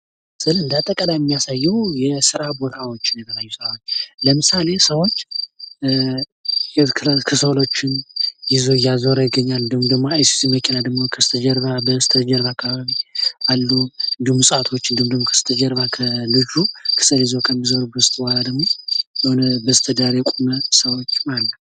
ይሀ ምስል እንዳተቃላይ የሚያሳየው የስራ ቦታዎችን ለምሳሌ ሰዎች የተለያዩ ከሰሎችን እያዞረ ይገኛል፤ እንዲሁም ደግሞ አይሱዙ መኪና ከበስተጀርባ አሉ እንዲሁም እጽዋቶች እንዲሁም ደግሞ ከበስተጀርባ ከሰል ይዞ ከሚዞረው በስተጀርባ ደግሞ በስተዳር የቆሙ ሰዎችም አሉ።